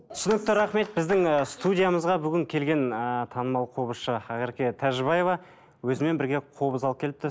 түсінікті рахмет біздің ы студиямызға бүгін келген ыыы танымал қобызшы ақерке тәжібаева өзімен бірге қобыз алып келіпті